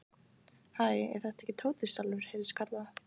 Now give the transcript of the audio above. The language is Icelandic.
Hæ, er þetta ekki Tóti sjálfur? heyrðist kallað.